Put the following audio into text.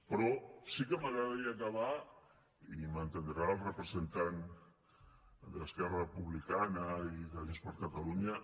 però sí que m’agradaria acabar i m’entendrà el representant d’esquerra republicana i de junts per catalunya